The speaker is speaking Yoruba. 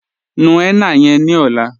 Nú henna yẹ̀n ní ọ̀là